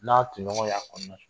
N'a toɲɔgɔnw y'a kɔnɔnasu